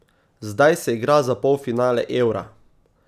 Zdaj se igra za polfinale Eura.